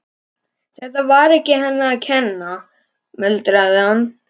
Þetta var ekki henni að kenna, muldraði hann.